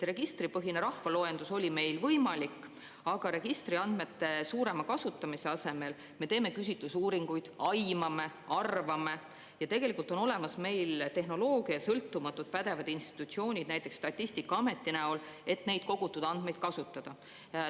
Registripõhine rahvaloendus oli meil võimalik, aga registriandmete suurema kasutamise asemel me teeme küsitlusuuringuid, aimame, arvame, kuigi tegelikult on olemas meil tehnoloogia ja sõltumatud pädevad institutsioonid, näiteks Statistikaamet, et neid kogutud andmeid kasutada.